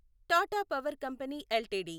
Tata power company LTD